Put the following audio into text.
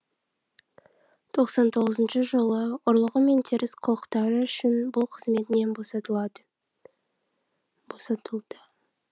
тоқсан тоғызыншы жылы ұрлығы мен теріс қылықтары үшін бұл қызметінен босатылады босатылды